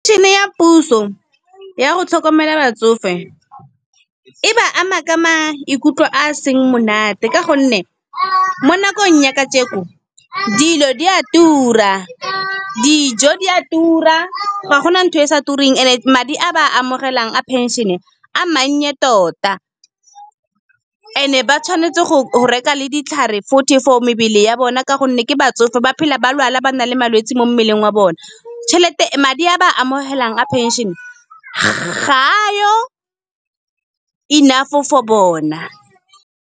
Pension-e ya puso ya go tlhokomela batsofe, e ba ama ka maikutlo a seng monate. Ka gonne mo nakong ya ka jeko dilo di a tura, dijo di a tura ga gona ntho e sa tureng. And madi a ba a amogelang a pension-e, a mannye tota, and-e ba tshwanetse go reka le ditlhare futhi for mebele ya bona. Ka gonne ke batsofe ba phela ba lwala ba na le malwetsi mo mmeleng wa bona, Madi a ba a amogelang a pension ga yo enough for bona.